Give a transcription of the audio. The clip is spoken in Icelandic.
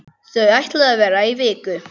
Þau ætluðu að vera í viku.